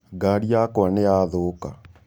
Ngarĩ yakwa nĩyathũka.